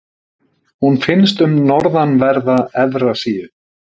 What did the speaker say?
Hún finnst um norðanverða Evrasíu.